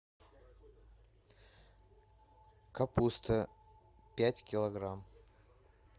капуста пять килограмм